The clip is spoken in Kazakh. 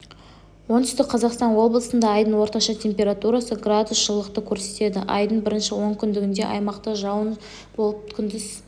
оңтүстік қазақстан облысында айдың орташа температурасы градус жылылықты көрсетеді айдың бірінші онкүндігінде аймақта жауын болып күндіз